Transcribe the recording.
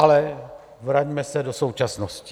Ale vraťme se do současnosti.